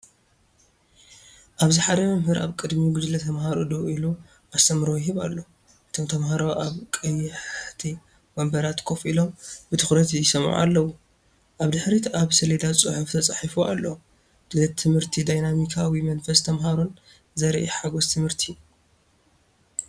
ኣብዚ ሓደ መምህር ኣብ ቅድሚ ጉጅለ ተማሃሮ ደው ኢሉ ኣስተምህሮ ይህብ ኣሎ። እቶም ተማሃሮ ኣብ ቀያሕቲ ወንበራት ኮፍ ኢሎም ብትኹረት ይሰምዑ ኣለዉ። ኣብ ድሕሪት ኣብ ሰሌዳ ጽሑፍ ተጻሒፉ ኣሎ። ድሌት ትምህርትን ዳይናሚካዊ መንፈስ ተምሃሮን ዘርኢ ሓጎስ ትምህርቲ።